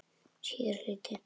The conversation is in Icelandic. Síðari hluti